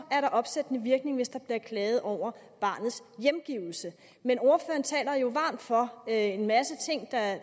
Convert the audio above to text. er der opsættende virkning hvis der bliver klaget over barnets hjemgivelse men ordføreren taler jo varmt for en masse ting der